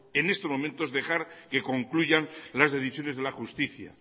en estos momentos dejar que concluyan las decisiones de la justicia